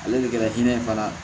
Ale de kɛra hinɛ ye fana